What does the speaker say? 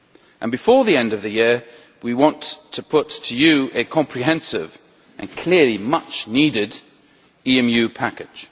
And before the end of the year, we want to put to you a comprehensive and clearly much needed 'EMU package'.